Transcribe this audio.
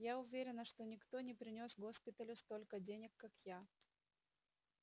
я уверена что никто не принёс госпиталю столько денег как я